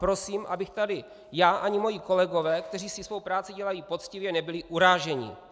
Prosím, abychom tady já, ani moji kolegové, kteří si svou práci dělají poctivě, nebyli uráženi.